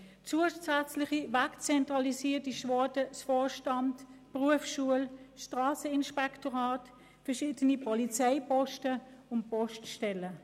Zusätzlich «wegzentralisiert» wurde der Vorstand der Berufsschulen, das Strasseninspektorat, verschiedene Polizeiposten und Poststellen.